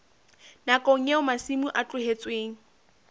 nakong eo masimo a tlohetsweng